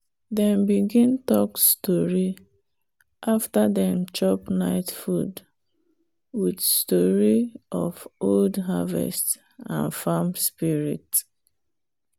dem begin talk story after dem chop night food with story of old harvest and farm spirit.